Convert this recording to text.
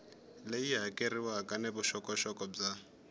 leyi hakeriwaka ni vuxokoxoko bya